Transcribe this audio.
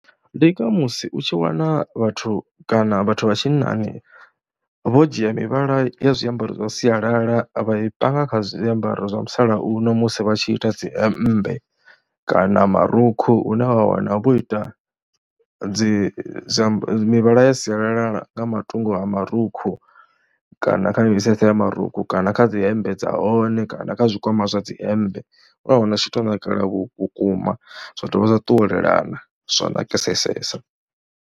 Ndi nga musi u tshi wana vhathu kana vhathu vha tshinnani vho dzhia mivhala ya zwiambaro zwa sialala vha i panga kha zwiambaro zwa musalauno musi vha tshi ita dzi hemmbe kana marukhu, hune wa wana vho ita dzi mivhala ya sialala nga matungo a marukhu kana kha mitsetse ya marukhu kana kha dzi hemmbe dza hone, kana kha zwikwama zwa dzi hemmbe. Wa wana u tshi tou nakelela vhukuma zwa dovha zwa ṱuwelelana zwa nakasesa.